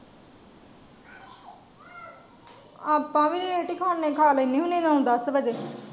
ਆਪਾ ਵੀ ਲੇਟ ਹੀ ਖਾਣੇ ਆ ਖਾ ਲੈਣੇ ਆ ਨਾਉ ਦੱਸ ਵਜੇ।